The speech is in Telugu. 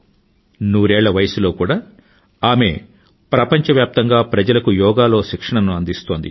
నూరేళ్ల వయసులో కూడా ఆమె ప్రపంచవ్యాప్తంగా ప్రజలకు యోగాలో శిక్షణను అందిస్తోంది